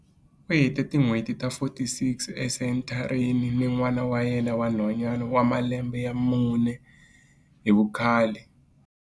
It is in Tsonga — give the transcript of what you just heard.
U hete tin'hweti ta 46 esenthareni ni n'wana wa yena wa nhwanyana wa malembe ya mune hi vukhale.